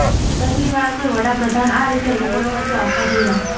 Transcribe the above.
પહેલીવાર કોઈ વડાપ્રધાન આ રીતે લોકોની વચ્ચે આવતા જોયા